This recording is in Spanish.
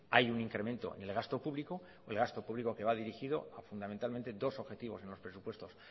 hay un incremento del gasto público el gasto público que va dirigido fundamentalmente a dos objetivos en los presupuestos